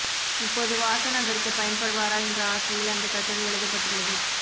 இப்போது வாசன் அதற்குப் பயன்படுவாரா என்ற ஆசையில் அந்தக் கட்டுரை எழுதப்பட்டுள்ளது